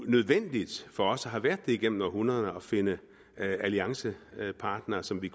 nødvendigt for os og har været det gennem århundreder at finde alliancepartnere som vi